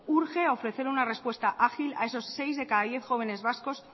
urge ofrecer una respuesta ágil a esos seis de cada diez jóvenes vascos